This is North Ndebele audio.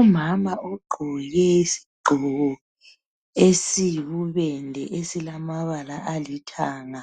Umama ogqoke isigqoko esiyibubende esilamabala alithanga